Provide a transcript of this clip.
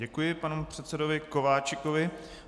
Děkuji panu předsedovi Kováčikovi.